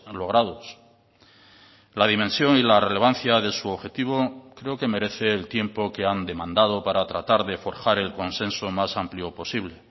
logrados la dimensión y la relevancia de su objetivo creo que merece el tiempo que han demandado para tratar de forjar el consenso más amplio posible